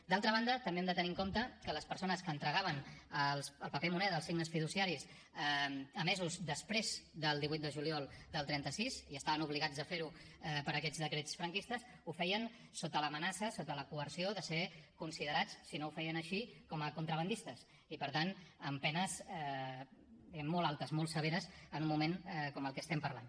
d’altra banda també hem de tenir en compte que les persones que entregaven el paper moneda els signes fiduciaris emesos després del divuit de juliol del trenta sis i estaven obligats a fer ho per aquests decrets franquistes ho feien sota l’amenaça sota la coerció de ser considerats si no ho feien així com a contrabandistes i per tant amb penes diguem ne molt altes molt severes en un moment com el que estem parlant